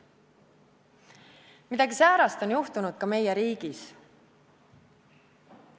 Midagi säärast on juhtunud ka meie riigis.